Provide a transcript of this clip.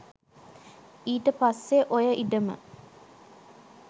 ඊට පස්සේ ඔය ඉඩම